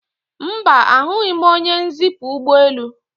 Mba, ahụghị m onye nzipu ụgbọelu